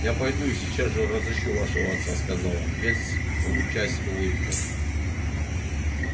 я пойду и сейчас же разыщу вашего отца сказал он весь лучась улыбкой